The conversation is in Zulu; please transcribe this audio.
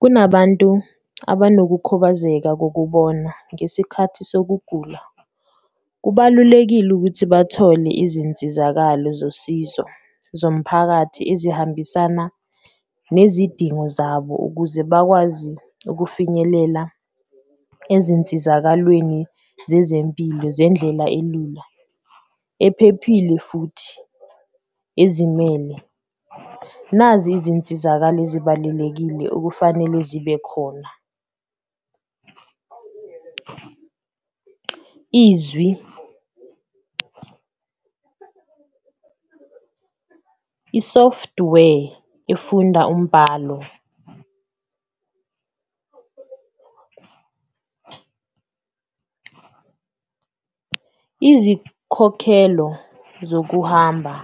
Kunabantu abanokukhubazeka kokubona ngesikhathi sokugula, kubalulekile ukuthi bathole izinsizakalo zosizo zomphakathi ezihambisana nezidingo zabo, ukuze bakwazi ukufinyelela ezinsizakalweni zezempilo zendlela elula ephephile futhi ezimele. Nazi izinsizakalo ezibalulekile okufanele zibe khona izwi, i-software efunda umbhalo, izikhokhelo zokuhamba